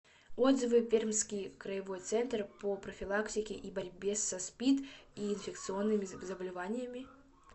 отзывы пермский краевой центр по профилактике и борьбе со спид и инфекционными заболеваниями